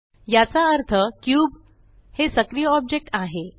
याचा अर्थ क्यूब हे सक्रिय ऑब्जेक्ट आहे